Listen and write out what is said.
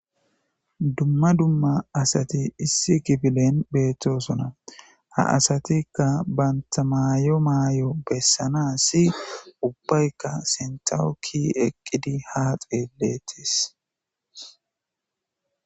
Duma duma asati issi kifilen betosona ha asatika banta mayo mayo besanasi ubbayka sintaw ki'i eqidi ha xeeletes.